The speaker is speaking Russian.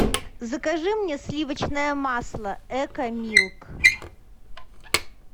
закажи мне сливочное масло эко милк